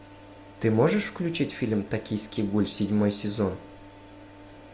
ты можешь включить фильм токийский гуль седьмой сезон